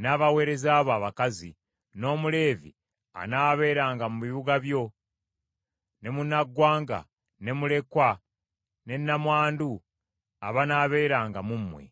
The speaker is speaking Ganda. n’abaweereza bo abakazi, n’Omuleevi anaabeeranga mu bibuga byo, ne munnaggwanga ne mulekwa, ne nnamwandu abanaabeeranga mu mmwe.